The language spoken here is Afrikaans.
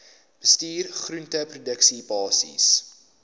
bestuur groenteproduksie basiese